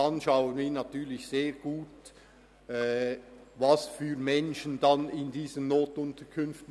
Wir werden natürlich stark darauf achten, welche Menschen in diese NUK kommen.